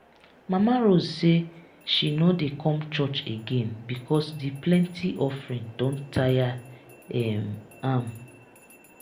mama rose say she no dey come church again because the plenty offering don tire um am